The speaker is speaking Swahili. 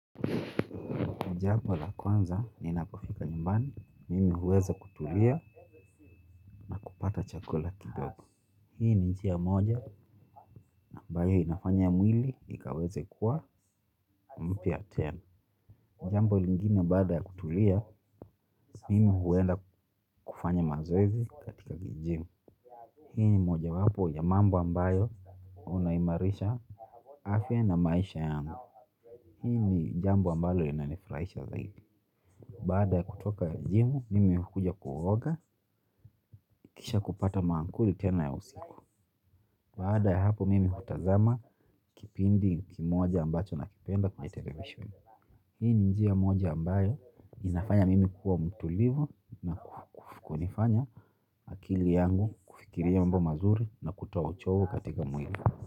Jambo la kwanza ninapofika nyumbani, mimi huweza kutulia, na kupata chakula kidogo. Hii ni njia moja, ambayo inafanya ya mwili, ikaweze kuwa mpya tena. Jambo lingine baada ya kutulia, mimi huweza kufanya mazoezi katika kigym. Hii ni mojawapo ya mambo ambayo, unaimarisha afya na maisha yangu. Hii ni jambo ambayo inanifraisha zaidi. Baada ya kutoka gym, mimi hukuja kuoga, kisha kupata maankuli tena ya usiku. Baada ya hapo mimi hutazama kipindi kimoja ambacho nakipenda kwenye television. Hii ni njia moja ambayo inafanya mimi kuwa mtulivu na kunifanya akili yangu kufikiria mambo mazuri na kutoa uchovu katika mwili.